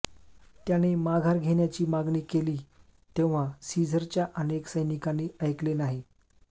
त्याने माघार घेण्याची मागणी केली तेव्हा सीझरच्या अनेक सैनिकांनी ऐकले नाही